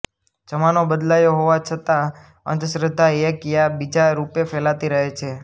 જમાનો બદલાયો હોવા છંતા અંધશ્રદ્ધા એક યા બીજા રૂપે ફેલાતી રહે છે